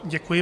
Děkuji.